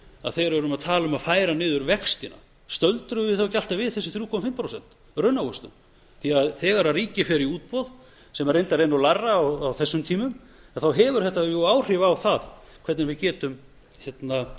að þegar við erum að tala um að færa niður vegna stöldrum við þá ekki alltaf við þessi þrjú og hálft prósent raunávöxtun því að þegar ríkið fer í útboð sem reyndar er lægra á þessum tímum þá hefur þetta áhrif á það hvernig við getum fjármagnað ríkissjóð í